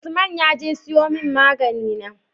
Usman yaje siyo mun magani na?